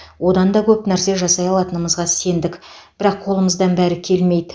одан да көп нәрсе жасай алатынымызға сендік бірақ қолымыздан бәрі келмейді